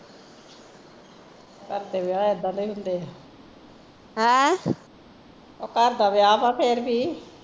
ਘਰ ਦੇ ਵਿਆਹ ਇੱਦਾਂ ਦੇ ਹੀਂ ਹੁੰਦੇ ਆ ਓਹ ਘਰ ਦਾ ਵਿਆਹ ਵਾਂ ਫੇਰ ਵੀ